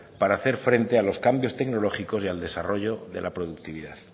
para hacer frente a los cambios tecnológicos y al desarrollo de la productividad